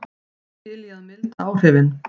Er til í að milda áhrifin